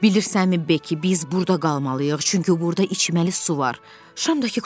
Bilirsənmi Bekki, biz burda qalmalıyıq, çünki burda içməli su var, şam da ki qurtarır.